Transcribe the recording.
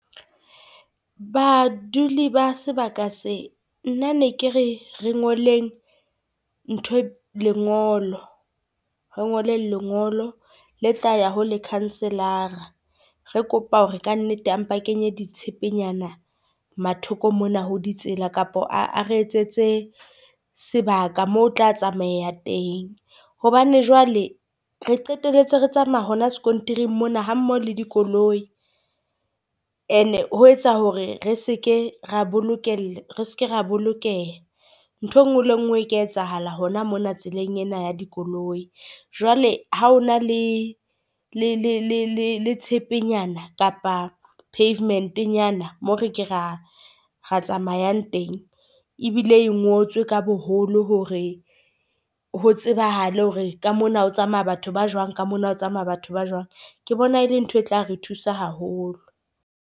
Baduli ba sebaka se, nna ne ke re re ngoleng ntho lengolo. Re ngoleng lengolo le tla ya ho lekhanselara. Re kopa hore kannete ampa kenye ditshepenyana mathoko mona ho ditsela, kapa a re etsetse sebaka moo ho tla tsamahea teng. Hobane jwale re qeteletse re tsamaya hona sekontiring mona ha mmoho le dikoloi, and-e ho etsa hore re seke ra , re seke ra bolokeha nthwe nngwe le ngwe e ka etsahala hona mona tseleng ena ya dikoloi. Jwale ha o na le le tshepe nyana kapa pavement-nyana moo re ke ra re tsamayang teng ebile e ngotswe ka boholo hore ho tsebahale hore ka mona o tsamaya batho ba jwang ka mona, ho tsamaya batho ba jwang ke bona ele ntho e tla re thusa haholo.